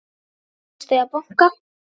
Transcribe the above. Þeir virðast eiga banka.